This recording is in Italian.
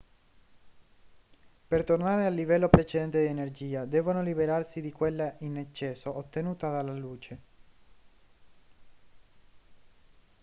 per tornare al livello precedente di energia devono liberarsi di quella in eccesso ottenuta dalla luce